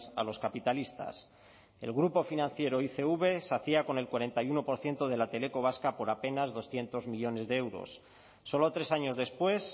a los capitalistas el grupo financiero icv se hacía con el cuarenta y uno por ciento de la teleco vasca por apenas doscientos millónes de euros solo tres años después